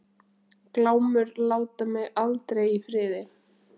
Glámur láta mig aldrei í friði.